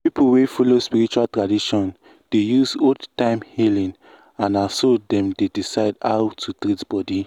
people wey follow spiritual tradition dey use old-time healing and na so dem dey decide how to treat body.